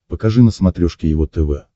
покажи на смотрешке его тв